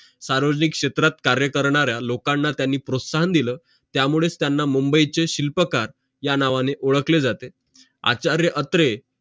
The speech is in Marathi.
सार्वजनिक क्षेत्रात कार्य करणाऱ्या लोकांना त्यांनी प्रोत्साहन दिल त्यामुळेच त्यांना मुंबईचे शिल्पकार या नावाने ओडखले जाते आचार्य अत्रे